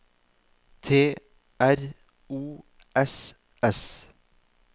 T R O S S